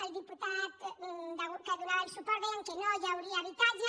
el diputat que donava suport deia que no hi hauria habitatge